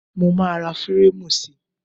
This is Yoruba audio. Mo máa ra fírámù sí.